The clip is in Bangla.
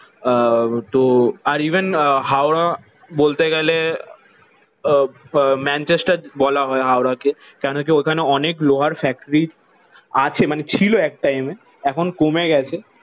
আহ তো আর ইভেন হাওড়া বলতে গেলে আহ ম্যানচেস্টার বলা হয় হাওড়াকে। কেন কি? ওখানে অনেক লোহার ফ্যাক্টরি আছে মানে ছিল এক টাইমে এখন কমে গেছে।